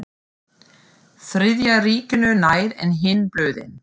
Þriðja ríkinu nær en hin blöðin.